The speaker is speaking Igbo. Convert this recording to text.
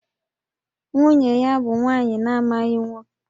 Nwunye ya bụ nwa agbọghọ na-amaghị nwoke mgbe ha lụrụ